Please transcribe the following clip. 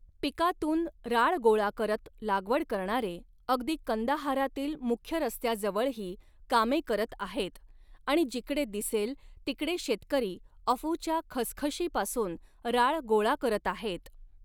पिकातून राळ गोळा करत लागवड करणारे अगदी कंदाहारातील मुख्य रस्त्याजवळही कामे करत आहेत आणि जिकडे दिसेल तिकडे शेतकरी अफूच्या खसखशीपासून राळ गोळा करत आहेत.